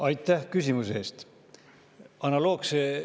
Aitäh küsimuse eest!